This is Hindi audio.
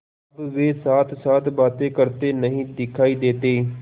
अब वे साथसाथ बातें करते नहीं दिखायी देते